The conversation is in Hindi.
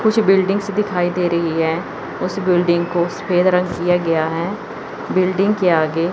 कुछ बिल्डिंग दिखाई दे रही है उस बिल्डिंग को सफेद रंग किया गया है बिल्डिंग के आगे--